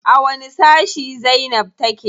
A wani sashi zainab take?